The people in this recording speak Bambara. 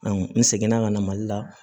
n segin na ka na mali la